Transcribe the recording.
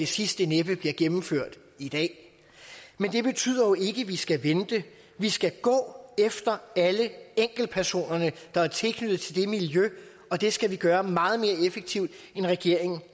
sidste næppe bliver gennemført i dag men det betyder jo ikke at vi skal vente vi skal gå efter alle enkeltpersonerne der er knyttet til det miljø og det skal vi gøre meget mere effektivt end regeringen